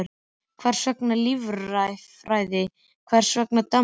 Hvers vegna líffræði, hvers vegna Danmörk?